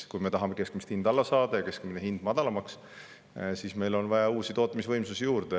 Kui me tahame keskmist hinda madalamaks saada, siis meil on vaja juurde uusi tootmisvõimsusi.